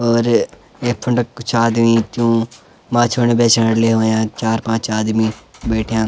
और यख फुण्ड कुछ आदमी जू माछुण बेचण लयू यख चार पांच आदमी बैट्ठ्याँ।